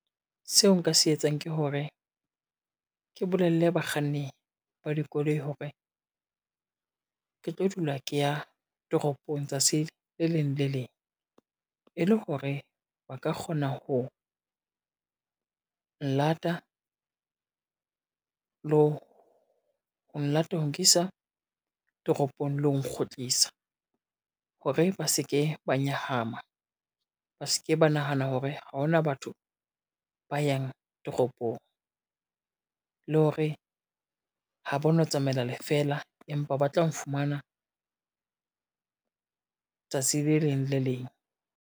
Seo nka se etsang ke hore, ke bolelle bakganni ba dikoloi hore, ke tlo dula ke ya toropong tsatsing le leng le le leng e le hore ba ka kgona ho, nkisa toropong le ho nkgotlisa. Hore ba se ke ba nyahama, ba se ke ba nahana hore ha hona batho ba yang toropong le hore ha ba no tsamaela le feela, empa ba tla nfumana tsatsi le leng le le leng.